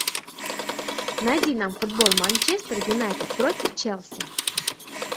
найди нам футбол манчестер юнайтед против челси